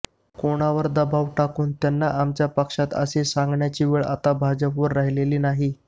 कोणावर दबाव टाकून त्यांना आमच्या पक्षात असे सांगण्याची वेळ आता भाजपवर राहिलेली नाही